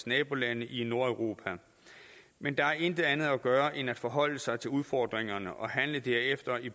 nabolande i nordeuropa men der er intet andet at gøre ind at forholde sig til udfordringerne og handle derefter i